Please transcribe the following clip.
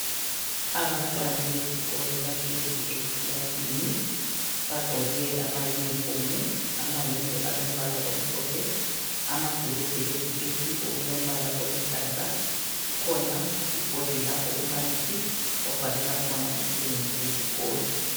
Abantwana besikolo bahlezi ekilasini bagqoke ama uniform, amayembe alombala omhlophe, amabhulugwe leziketi okulombala oluhlaza. Kukhona ibhodi lapho umbalisi obhalela khona umsebenzi wesikolo